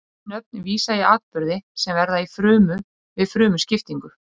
þessi nöfn vísa í atburði sem verða í frumu við frumuskiptingu